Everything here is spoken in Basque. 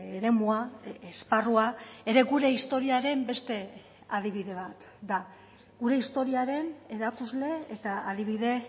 eremua esparrua ere gure historiaren beste adibide bat da gure historiaren erakusle eta adibide